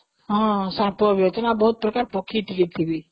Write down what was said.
ହଁ ସାପ ବି ଅଛନ୍ତି, ବହୁତ ପ୍ରକାର ପକ୍ଷୀ ବି ଥିବେ